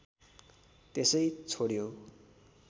त्यसै छोड्यौं